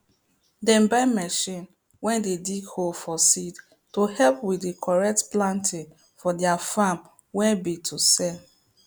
dem buy machine way dey dig hole for seed to help with the correct planting for their farm way be to sell